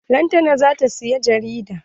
Lantana zata siyi jarida.